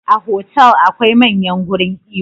A hotel akwai manyan gurin iyo